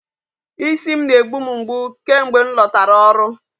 Isi m na-egbu m mgbu kemgbe m lọtara ọrụ